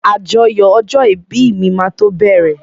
Àjọyọ̀ ọjọ́ ìbí mi máa tó bẹ̀rẹ̀.